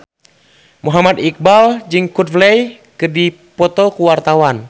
Muhammad Iqbal jeung Coldplay keur dipoto ku wartawan